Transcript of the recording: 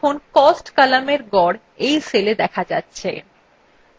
দেখুন cost কলামের গড় you cellএ দেখা যাচ্ছে